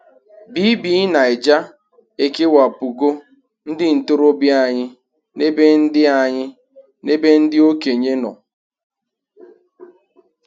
BBNaija e kewapụgo ndị ntorobịa anyị n'ebe ndị anyị n'ebe ndị okenye nọ.